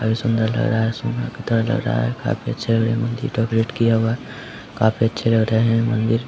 और ये सुंदर लग रहा है सोना के तरह लग रहा है काफी अच्छा ये मंदिर डेकोरेट किया हुआ है काफी अच्छे लग रहे हैं मंदिर।